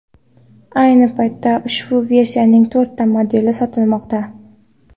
Ayni paytda ushbu versiyaning to‘rtta modeli sotilmoqda.